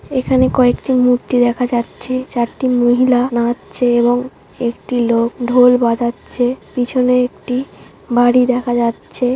এখানে কয়েকটি মূর্তি দেখা যাচ্ছে। চারটি মহিলা নাচছে এবং একটি লোক ঢোল বাজাচ্ছে। পিছনে একটি বাড়ি দেখা যাচ্ছে।